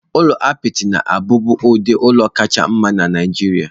Ụlọ apịtị na-abụbu ụdị ụlọ kacha mma na Nigeria.